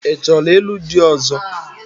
Ị chọrọ ịlụ di ọ̀zọ́?